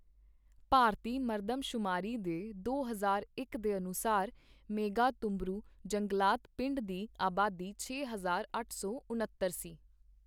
ਭਾਰਤੀ ਮਰਦਮਸ਼ੁਮਾਰੀ ਦੇ ਦੋ ਹਜ਼ਾਰ ਇਕ ਦੇ ਅਨੁਸਾਰ, ਮੇਘਾਹਤੁਬਰੂ ਜੰਗਲਾਤ ਪਿੰਡ ਦੀ ਆਬਾਦੀ ਛੇ ਹਜ਼ਾਰ ਅੱਠ ਸੌ ਉਣੱਤਰ ਸੀ।